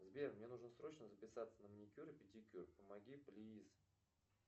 сбер мне нужно срочно записаться на маникюр и педикюр помоги плиз